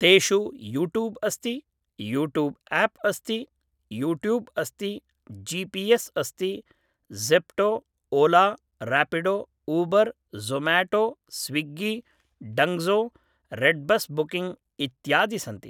तेषु यूट्यूब् अस्ति YouTube app अस्ति यूट्यूब् अस्ति जि पि एस् अस्ति Zepto Ola Rapido Uber Zomato Swiggy Dunzo redBus booking इत्यादि सन्ति